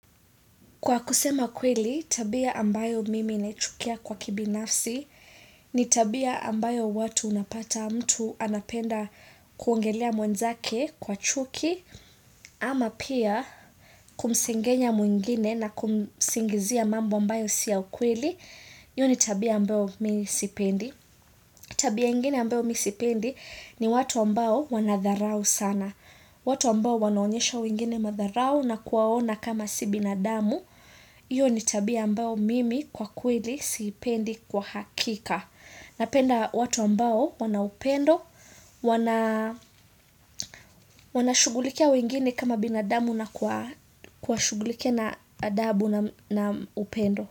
Kwa kusema kweli, tabia ambayo mimi naichukia kwa kibinafsi ni tabia ambayo watu unapata mtu anapenda kuongelea mwenzake kwa chuki ama pia kumsengenya mwingine na kumsingizia mambo ambayo siya kweli, hio ni tabia ambayo misipendi. Tabia ingine ambayo mi sipendi ni watu ambayo wanadharau sana. Watu ambayo wanoonyesha wengine madharau na kuwaona kama si binadamu. Iyo ni tabia ambayo mimi kwa kweli sipendi kwa hakika. Napenda watu ambayo wanaupendo, wanaa wana shugulikia wengine kama binadamu na kwa shugulikia na adabu na upendo.